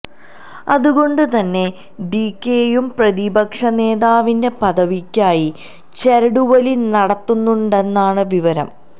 അതുകൊണ്ട് തന്നെ ഡികെയും പ്രതിപക്ഷ നേതാവിന്റെ പദവിയ്ക്കായി ചരടുവലി നടത്തുന്നുണ്ടെന്നാണ് വിവരം